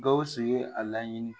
Gawusu ye a laɲini